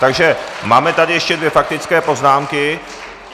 Takže máme tady ještě dvě faktické poznámky.